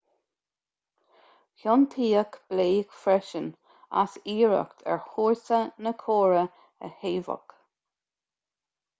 ciontaíodh blake freisin as iarracht ar chúrsa na córa a shaobhadh